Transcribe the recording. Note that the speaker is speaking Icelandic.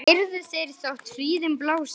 heyrðu þeir þótt hríðin blási